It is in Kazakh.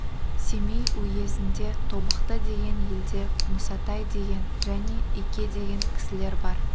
семей уезінде тобықты деген елде мұсатай деген және ике деген кісілер бар